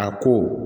A ko